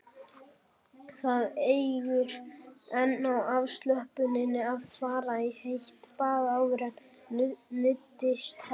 Það eykur enn á afslöppunina að fara í heitt bað áður en nuddið hefst.